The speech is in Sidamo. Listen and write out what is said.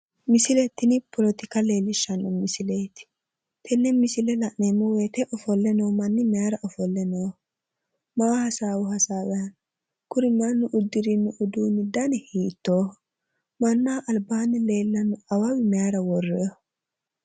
Misile tini poletika leellishshanno misileeti tenne misile la'neemmo woyite ofolle noo manni mayira ofolle nooho? Mayi hasaawi hasaawanni no? Kuri manni uddirino udiinni dani hiittooho mannaho albaanni leellanno awawi mayira worroonniho